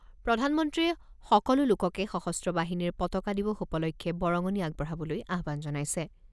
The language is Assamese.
প্ৰধানমন্ত্ৰীয়ে সকলো লোককে সশস্ত্ৰ বাহিনীৰ পতাকা দিৱস উপলক্ষে বৰঙণি আগবঢ়াবলৈ আহ্বান জনাইছে।